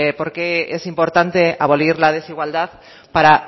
porqué es importante abolir la desigualdad para